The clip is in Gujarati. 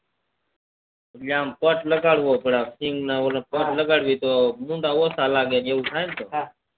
એટલે આમ લગાડવો પડ આમ સિંગ ન ઓલું લગાડીએ તો ભૂંડા ઓછુ લાગે એવું થાય ને હા